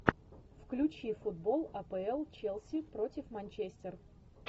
включи футбол апл челси против манчестер